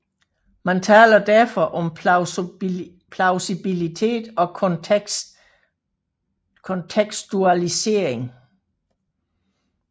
Man taler derfor om plausibilitet og kontekstualisering